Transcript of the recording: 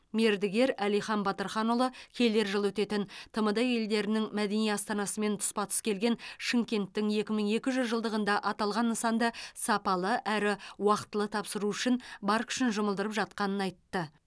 мердігер әлихан батырханұлы келер жылы өтетін тмд елдерінің мәдени астанасымен тұспа тұс келген шымкенттің екі мың екі жүз жылдығында аталған нысанды сапалы әрі уақтылы тапсыру үшін бар күшін жұмылдырып жатқанын айтты